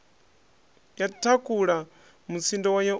ya thakhula mutsindo wayo u